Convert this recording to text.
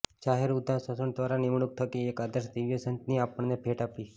જાહેર ઉદ્ઘોષણા દ્વારા નિમણૂક થકી એક આદર્શ દિવ્ય સંતની આપણને ભેટ આપી